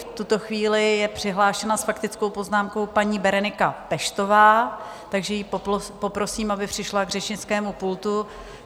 V tuto chvíli je přihlášena s faktickou poznámkou paní Berenika Peštová, takže ji poprosím, aby přišla k řečnickému pultu.